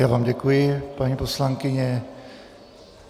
Já vám děkuji, paní poslankyně.